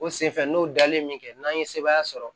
O senfɛ n'o dalen bɛ kɛ n'an ye sebaaya sɔrɔ